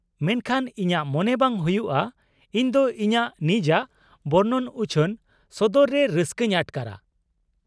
-ᱢᱮᱱᱠᱷᱟᱱ ᱤᱧᱟᱹᱜ ᱢᱚᱱᱮ ᱵᱟᱝ ᱦᱩᱭᱩᱜᱼᱟ ᱤᱧᱫᱚ ᱤᱧᱟᱹᱜ ᱱᱤᱡᱟᱜ ᱵᱚᱨᱱᱚᱱ ᱩᱪᱷᱟᱹᱱ ᱥᱚᱫᱚᱨᱨᱮ ᱨᱟᱹᱥᱠᱟᱹᱧ ᱟᱴᱠᱟᱨᱼᱟ ᱾